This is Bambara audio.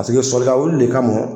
Paseke sɔlikawuli le ka mɔ